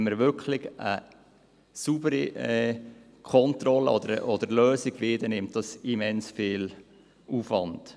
Wenn wir eine wirklich saubere Kontrolle oder Lösung wollen, dann führt dies zu einem immensen Aufwand.